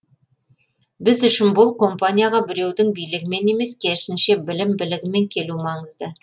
біз үшін бұл компанияға біреудің билігімен емес керісінше білім білігімен келу маңызды